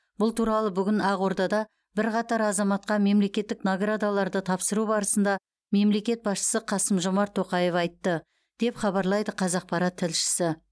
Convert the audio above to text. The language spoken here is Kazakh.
бұл туралы бүгін ақордада бірқатар азаматқа мемлекеттік наградаларды тапсыру барысында мемлекет басшысы қасым жомарт тоқаев айтты деп хабарлайды қазақпарат тілшісі